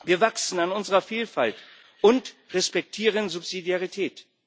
Wir wachsen an unserer Vielfalt und respektieren Subsidiarität.